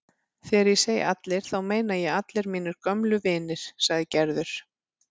Þegar ég segi allir þá meina ég allir mínir gömlu vinir sagði Gerður.